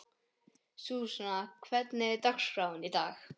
Súsanna, hvernig er dagskráin í dag?